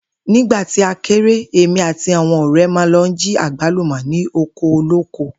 Nígbà tí a kéré, èmi àti àwo̩n ò̩ré̩ máa ń lo̩ jí àgbálùmò̩ ní oko olóko